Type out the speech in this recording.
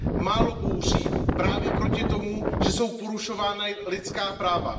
málo bouří právě proti tomu, že jsou porušována lidská práva.